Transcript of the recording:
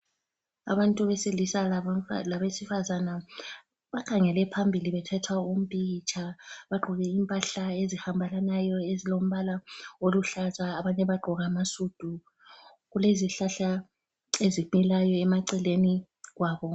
Abantu besilisa labesifazana bakhangele phambili bethathwa umpikitsha bagqoke impahla ezihambelanayo ezilombala oluhlaza abanye bagqoke amasudu kulezihlahla eziphilayo emaceleni kwabo.